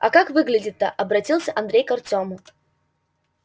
а как выглядит-то обратился андрей к артёму